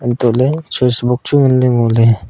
hantoh ley switch box chu ngan ley ngo ley.